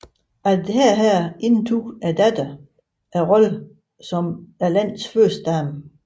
Efter dette indtog datteren rollen som landets førstedame